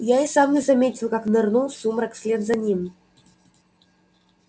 я и сам не заметил как нырнул в сумрак вслед за ним